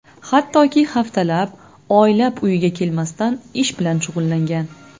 Hattoki haftalab, oylab uyiga kelmasdan ish bilan shug‘ullangan.